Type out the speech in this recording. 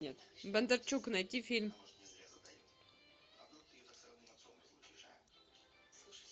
бондарчук найти фильм